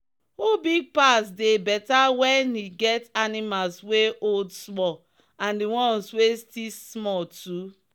who big pass they better when we get animals wey old small and the ones wey still small too.